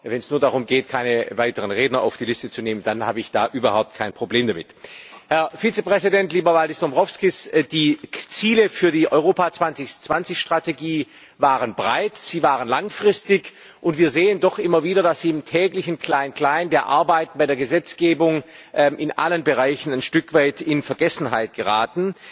Aber wenn es nur darum geht, keine weiteren Redner auf die Liste zu nehmen, habe ich überhaupt kein Problem damit. Herr Vizepräsident, lieber Valdis Dombrovskis! Die Ziele für die Europa 2020 Strategie waren breit, sie waren langfristig, und wir sehen doch immer wieder, dass sie im täglichen Kleinklein der Arbeiten bei der Gesetzgebung in allen Bereichen ein Stück weit in Vergessenheit geraten.